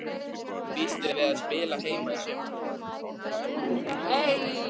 Býstu við að spila heima í sumar?